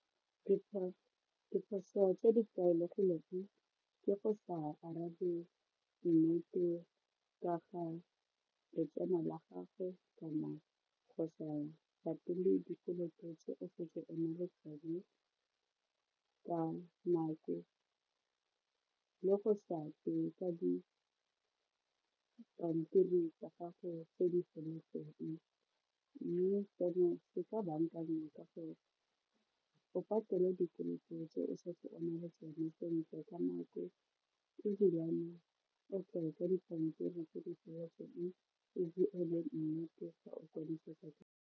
Diphoso tse di tlwaelegileng ke go sa arabe nnete ka ga letseno la gago kana go sa patele dikoloto tse o fetse o na le tsone ka nako le go sa tleng ka dipampiri tsa gago tse di feletseng mme seno se ka bankanngwa ka go o patele dikoloto tse o setseng o na le tsone sentle ka nako ebilane o tle ka dipampiri tse di feleletseng ebile a le nnete ga o konosetsa .